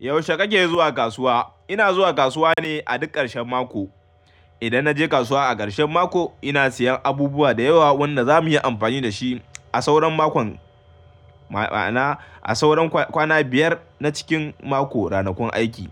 Yaushe kake zuwa kasuwa? Ina zuwa kasuwa ne a duk ƙarshen mako. Idan na je kasuwa a ƙarshen mako, ina siyan abubuwa da yawa wanda za mu yi amfani da shi a sauran mako, ma'ana a sauran kwana biyar na cikin mako, ranakun aiki.